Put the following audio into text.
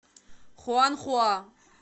хуанхуа